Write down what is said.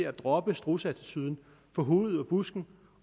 at droppe strudseattituden få hovedet ud af busken